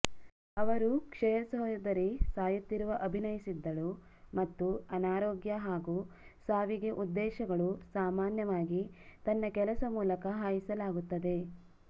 ಅವರು ಕ್ಷಯ ಸಹೋದರಿ ಸಾಯುತ್ತಿರುವ ಅಭಿನಯಿಸಿದ್ದಳು ಮತ್ತು ಅನಾರೋಗ್ಯ ಹಾಗೂ ಸಾವಿಗೆ ಉದ್ದೇಶಗಳು ಸಾಮಾನ್ಯವಾಗಿ ತನ್ನ ಕೆಲಸ ಮೂಲಕ ಹಾಯಿಸಲಾಗುತ್ತದೆ